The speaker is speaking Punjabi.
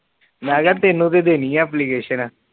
ਮੇਕਾ ਤੈਨੂੰ ਤੇ ਦੇਣੀ ਏ ਐਪਲੀਕੇਸ਼ਨ